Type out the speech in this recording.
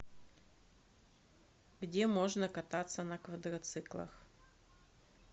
где можно кататься на квадроциклах